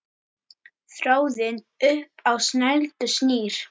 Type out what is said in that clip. Þráðinn upp á snældu snýr.